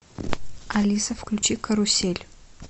алиса включи карусель